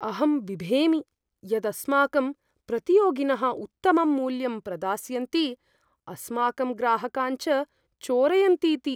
अहं बिभेमि यत् अस्माकं प्रतियोगिनः उत्तमं मूल्यं प्रदास्यन्ति, अस्माकं ग्राहकान् च चोरयन्तीति।